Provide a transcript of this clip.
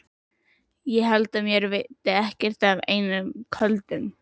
Ég held mér veiti ekkert af einum köldum.